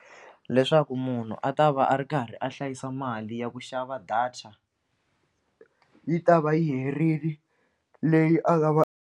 Leswaku munhu a ta va a ri karhi a hlayisa mali ya ku xava data yi ta va yi herile leyi a nga va.